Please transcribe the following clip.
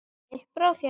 Gísli: Brá þér?